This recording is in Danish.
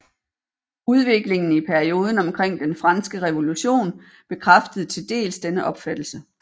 Udviklingen i perioden omkring den franske revolution bekræftede til dels denne opfattelse